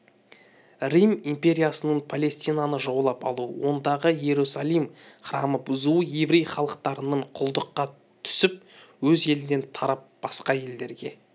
рим империясының палестинаны жаулап алуы ондағы иерусалим храмын бұзуы еврей халықтарының құлдыққа түсіп өз елінен тарап басқа елдерге